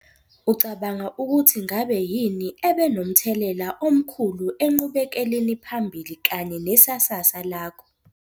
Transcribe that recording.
Ucabanga ukuthi ngabe yini ebe nomthelela omkhulu enqubekeleniphambili kanye nesasasa lakho?